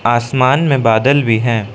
आसमान में बादल भी हैं।